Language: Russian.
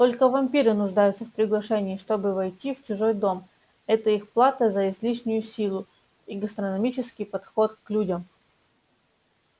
только вампиры нуждаются в приглашении чтобы войти в чужой дом это их плата за излишнюю силу и гастрономический подход к людям